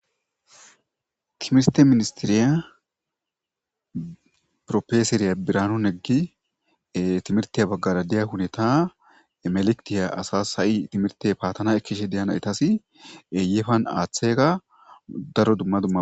kimiste ministiriya profeseriya biranun eggi timirtiya baggara diya huneta emelektiya asa ha7i timirte paatana ekkishe deyana etasi yefan aaththega daro dumma dumma